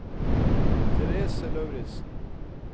Therese Lauritsen